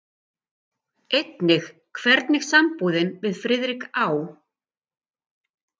Einnig hvernig sambúðin við Friðrik á